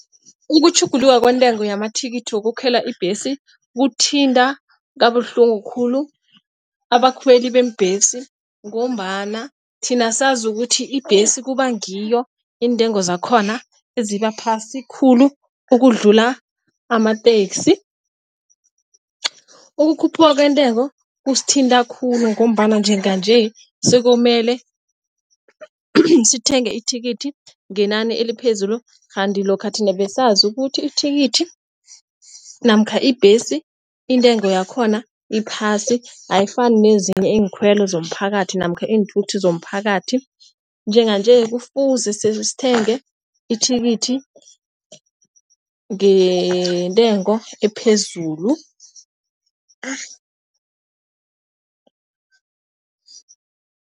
Ukutjhuguluka kwentengo yamathikithi wokukhwela ibhesi, kuthinta kabuhlungu khulu abakhweli beembhesi ngombana thina sazi ukuthi ibhesi kuba ngiyo iintengo zakhona eziba phasi khulu ukudlula amatekisi. Ukukhuphuka kwentengo kusithinta khulu ngombana njenganje sekuyomele sithenge ithikithi ngenani eliphezulu, kanti lokha thina besazi ukuthi ithikithi namkha ibhesi intengo yakhona iphasi, ayifani nezinye iinkhwelo zomphakathi namkha iinthuthi zomphakathi. Njenganje kufuze sithenge ithikithi ngentengo ephezulu.